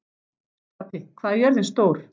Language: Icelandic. Stapi, hvað er jörðin stór?